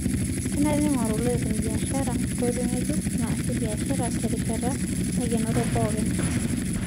Kenare neing'goru lopeny biashara nkoitoi ng'ejuko naasie biashara tenarishata naikenoro pookin